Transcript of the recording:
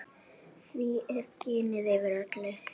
Því er ginið yfir öllu.